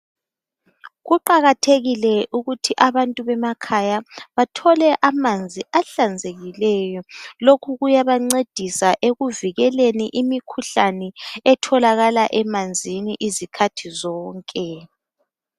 Kuqakathekile ukuthi abantu bemakhaya bathole amanzi ahlanzekileyo. Lokhu kuyabancedisa ekuvikeleni imikhuhlane etholakala emanzini izikhathi zonke.